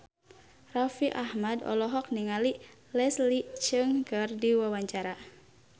Raffi Ahmad olohok ningali Leslie Cheung keur diwawancara